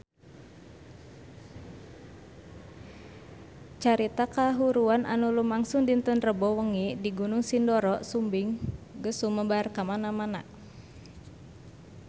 Carita kahuruan anu lumangsung dinten Rebo wengi di Gunung Sindoro Sumbing geus sumebar kamana-mana